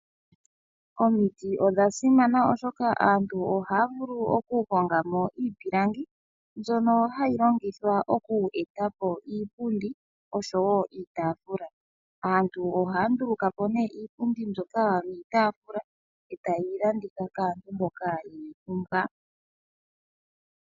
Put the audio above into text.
Omiti odha simana, oshoka aantu ohaya vulu okuhonga mo iipilangi mbyono hayi longithwa okueta po iipundi oshowo iitaafula. Aantu ohaya nduluka po nduno iipundi mbyoka niitaafula e taye yi landitha kaantu mboka ye yi pumbwa.